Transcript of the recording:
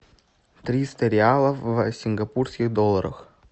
триста реалов в сингапурских долларах